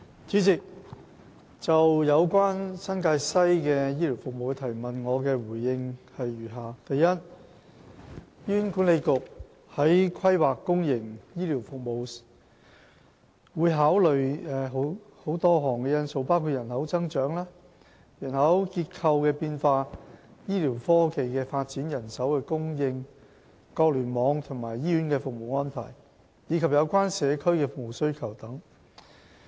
主席，就有關新界西的醫療服務的質詢，我答覆如下：一醫院管理局在規劃公營醫療服務時，會考慮多項因素，包括人口增長、人口結構變化、醫療科技發展、人手供應、各聯網和醫院的服務安排，以及有關社區的服務需求等。